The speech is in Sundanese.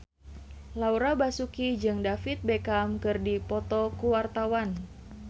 Laura Basuki jeung David Beckham keur dipoto ku wartawan